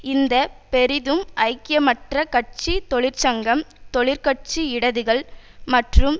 இந்த பெரிதும் ஐக்கியமற்ற கட்சி தொழிற்சங்கம் தொழிற்கட்சி இடதுகள் மற்றும்